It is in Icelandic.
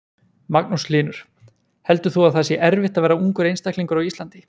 Magnús Hlynur: Heldur þú að það sé erfitt að vera ungur einstaklingur á Íslandi?